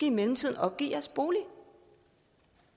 i mellemtiden opgive jeres bolig